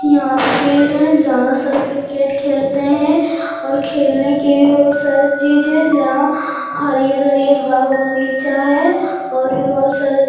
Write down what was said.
यहाँ फील्ड है जहाँ सब क्रिकेट खेलते है और खेलने की बहुत सारे चीज़ है जहाँ हरियर-हरियर बाग बगीचा है और बहुत सारा --